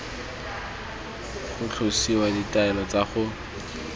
go tlosiwa ditaelo tsa go